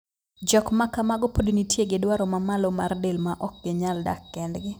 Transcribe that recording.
Jok ma kamago pod nitie gi dwaro ma malo mar del ma ok ginyal dak kendgi.